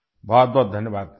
بہت بہت شکریہ